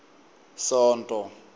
sonto